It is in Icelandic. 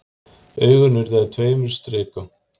Augun urðu að tveimur strikum.